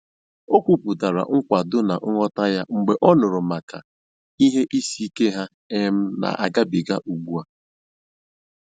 O kwupụtara nkwado na nghọta ya mgbe ọ nụrụ maka ihe isiike ha um na-agabiga ugbu a